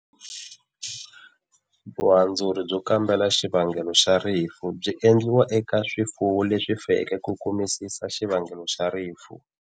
Vuhandzuri byo kambela xivangelo xa rifu xi endliwa eka swifuwo leswi feke ku kumisisa xivangelo xa rifu.